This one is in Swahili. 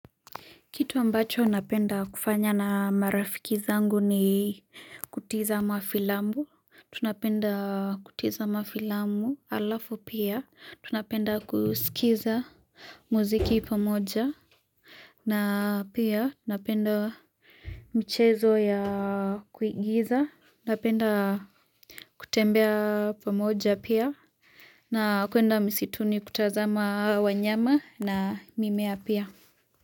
Kitu ambacho napenda kufanya na marafiki zangu ni kutiza mafilambu. Tunapenda kutiza mafilambu alafu pia. Tunapenda kusikiza muziki pamoja. Na pia tunapenda mchezo ya kuingiza. Napenda kutembea pamoja pia. Na kuenda misituni kutazama wanyama na mimea pia.